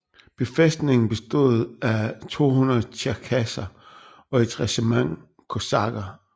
Befæstningen bestod af 200 tjerkasser og et regiment kosakker